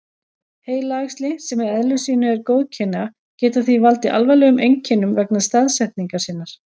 Heilaæxli, sem í eðli sínu eru góðkynja, geta því valdið alvarlegum einkennum vegna staðsetningar sinnar.